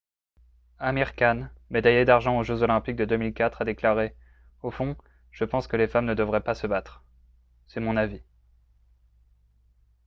amir khan médaillé d'argent aux jeux olympiques de 2004 a déclaré :« au fond je pense que les femmes ne devraient pas se battre. c'est mon avis. »